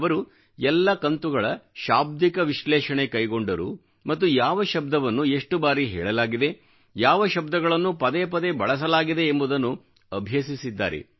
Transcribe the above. ಅವರು ಎಲ್ಲ ಕಂತುಗಳ ಶಾಬ್ದಿಕ ವಿಶ್ಲೇಷಣೆ ಕೈಗೊಂಡರು ಮತ್ತು ಯಾವ ಶಬ್ದವನ್ನು ಎಷ್ಟು ಬಾರಿ ಹೇಳಲಾಗಿದೆ ಯಾವ ಶಬ್ದಗಳನ್ನು ಪದೇ ಪದೇ ಬಳಸಲಾಗಿದೆ ಎಂಬುದನ್ನು ಅಭ್ಯಸಿಸಿದ್ದಾರೆ